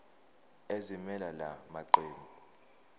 ezimelele la maqembu